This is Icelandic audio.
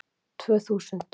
Tvö þúsund